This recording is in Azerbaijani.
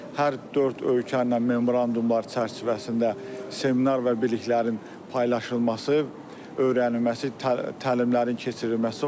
Hər dörd ölkə ilə memorandumlar çərçivəsində seminar və biliklərin paylaşılması, öyrənilməsi, təlimlərin keçirilməsi var.